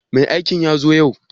Mai aikin zata zo yau?